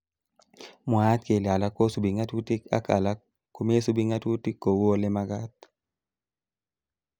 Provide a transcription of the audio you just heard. Mwaat kele alak kosubi ngatutik ak alak komesubi ngatutik kou olemakat